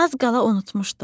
Az qala unutmuşdum.